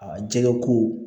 A jɛgɛ ko